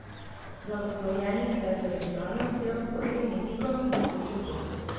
Blagoslovljeni ste z originalnostjo, ostrim jezikom in sočutjem.